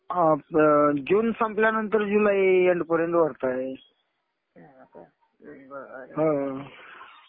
हा. जून संपल्यानंतर जुलै एन्ड पर्यंत भरता येईल. हा.